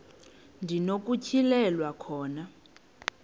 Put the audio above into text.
ndi nokutyhilelwa khona